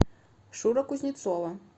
шура кузнецова